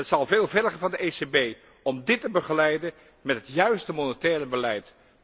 Het zal veel vergen van de ECB om dit te begeleiden met het juiste monetaire beleid.